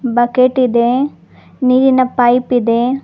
Bucket ಇದೆ ನೀರಿನ pipe ಇದೆ.